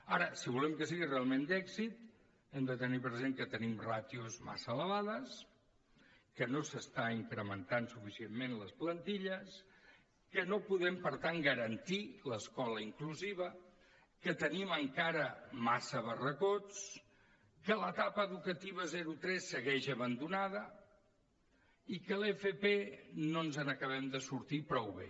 ara si volem que sigui realment d’èxit hem de tenir present que tenim ràtios massa elevades que no s’estan incrementant suficientment les plantilles que no podem per tant garantir l’escola inclusiva que tenim encara massa barracons que l’etapa educativa zero tres segueix abandonada i que de l’fp no ens n’acabem de sortir prou bé